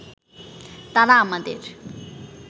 তারা আমাদের